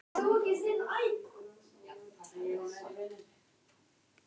Konan hefur látið fallast niður í hægindastól inni í herberginu.